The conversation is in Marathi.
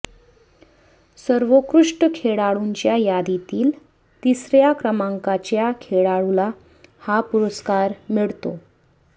सर्वोकृष्ट खेळाडूंच्या यादीतील तिसऱ्या क्रमांकाच्या खेळाडूला हा पुरस्कार मिळतो